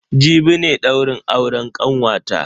Jibi ne daurin auren kanwata.